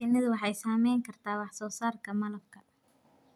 Shinnidu waxay saameyn kartaa wax soo saarka malabka.